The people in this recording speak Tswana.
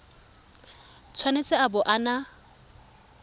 tshwanetse a bo a na